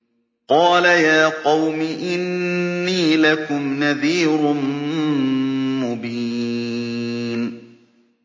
قَالَ يَا قَوْمِ إِنِّي لَكُمْ نَذِيرٌ مُّبِينٌ